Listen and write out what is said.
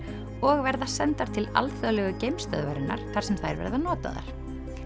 og verða sendar til alþjóðlegu þar sem þær verða notaðar